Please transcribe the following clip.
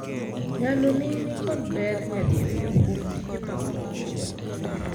Nyaloni ni kod ber nyadirio -kuom tije mag puonjruok.